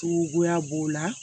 Cogoya b'o la